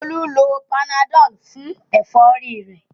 Olú lo panadol fún ẹ̀fọ́rí rẹ̀